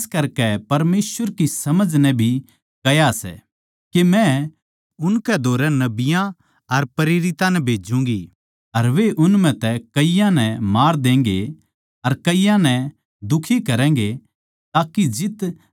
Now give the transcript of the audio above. इस करकै परमेसवर की समझ नै भी कह्या सै के मै उनकै धोरै नबियाँ अर प्रेरितां नै भेज्जूंगी अर वे उन म्ह तै कईयाँ नै मार देंगे अर कईयाँ नै दुखी करैगें